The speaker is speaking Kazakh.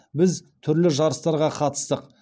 біз түрлі жарыстарға қатыстық